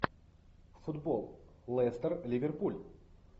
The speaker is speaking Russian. футбол лестер ливерпуль